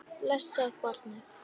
Blessað barnið.